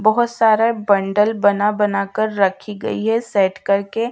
बहोत सारे बंडल बना बनाकर रखी गई है सेट करके--